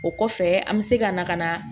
O kɔfɛ an bɛ se ka na ka na